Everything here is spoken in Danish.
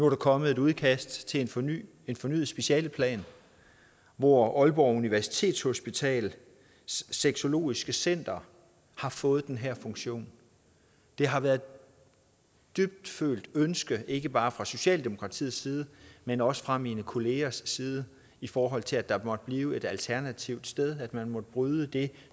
der kommet et udkast til en fornyet en fornyet specialeplan hvor aalborg universitetshospitals sexologiske center har fået den her funktion det har været et dybfølt ønske ikke bare fra socialdemokratiets side men også fra mine kollegaers side i forhold til at der måtte blive et alternativt sted at man måtte bryde det